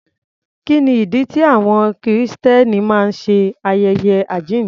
Kí ni ìdí tí àwọn Kìrìsìtẹ́nì máa ń ṣe ayẹyẹ àjíǹde?